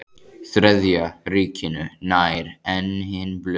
Þriðja ríkinu nær en hin blöðin.